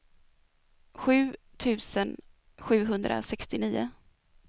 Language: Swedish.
sju tusen sjuhundrasextionio